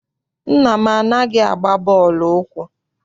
Nna m anaghị agba bọọlụ ụkwụ.